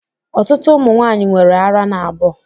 Ọtụtụ ụmụ nwanyị nwere árá n'abọ